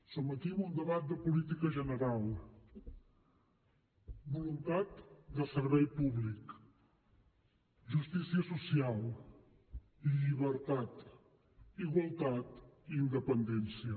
som aquí en un debat de política general voluntat de servei públic justícia social llibertat igualtat i independència